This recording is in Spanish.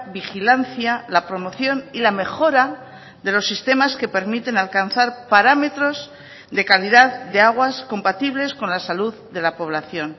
vigilancia la promoción y la mejora de los sistemas que permiten alcanzar parámetros de calidad de aguas compatibles con la salud de la población